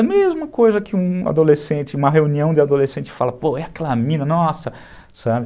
A mesma coisa que um adolescente, uma reunião de adolescente fala, pô, é aquela mina, nossa, sabe?